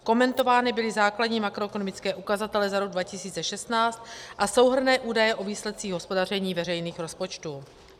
Komentovány byly základní makroekonomické ukazatele za rok 2016 a souhrnné údaje o výsledcích hospodaření veřejných rozpočtů.